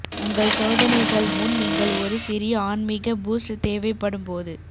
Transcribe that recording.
உங்கள் சோதனைகள் முன் நீங்கள் ஒரு சிறிய ஆன்மீக பூஸ்ட் தேவைப்படும் போது